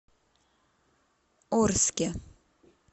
орске